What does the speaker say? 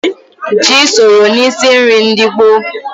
Ji soro n'isi nri ndị gboo.